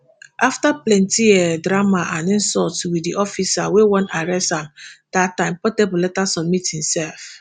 afta plenty um drama and insult wit di officer wey wan arrest am dat time portable later submit imself